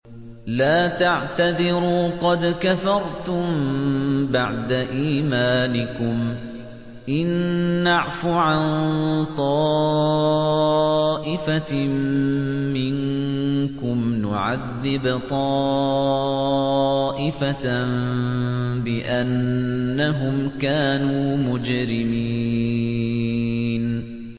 لَا تَعْتَذِرُوا قَدْ كَفَرْتُم بَعْدَ إِيمَانِكُمْ ۚ إِن نَّعْفُ عَن طَائِفَةٍ مِّنكُمْ نُعَذِّبْ طَائِفَةً بِأَنَّهُمْ كَانُوا مُجْرِمِينَ